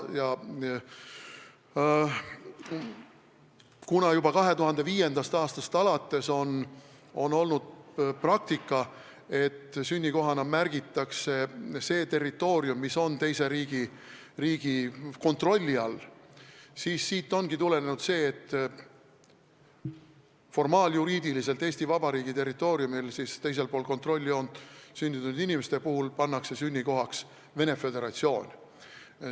Kuna juba 2005. aastast alates on olnud praktika, et sünnikoha märkimisel arvestatakse, et see territoorium on teise riigi kontrolli all, siis siit ongi tulenenud see, et formaaljuriidiliselt Eesti Vabariigi territooriumil, teisel pool kontrolljoont sündinud inimeste sünnikohaks märgitakse Venemaa Föderatsioon.